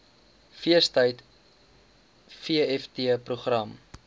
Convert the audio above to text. feestyd vft program